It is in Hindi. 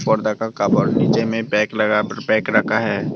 पर्दा का कबर नीचे में बैग लगाकर बैग रखा है।